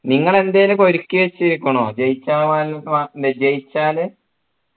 നിങ്ങൾ എന്തേലും ഒക്കെ ഒരുക്കിവെച്ചിരിക്കുന്നോ ജയിച്ചാ ജയിച്ചാല്